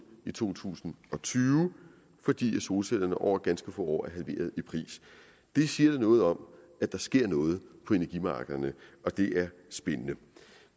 i to tusind og tyve fordi solcellerne over ganske få år er halveret i pris det siger noget om at der sker noget på energimarkederne og det er spændende